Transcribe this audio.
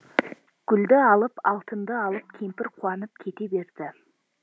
гүлді алып алтынды алып кемпір қуанып кете берді